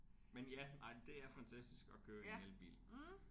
Men ja ej det er fantastisk at køre i en elbil